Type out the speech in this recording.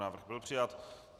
Návrh byl přijat.